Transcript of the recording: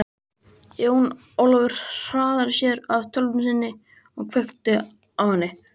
Jón Ólafur hraðaði sér að tölvunni sinni og kveikti á henni.